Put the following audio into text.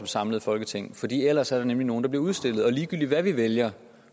samlet folketing fordi ellers er der nemlig nogle der bliver udstillet og ligegyldigt hvad vi vælger